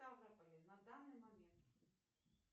в ставрополе на данный момент